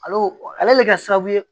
Ale ale bɛ kɛ sababu ye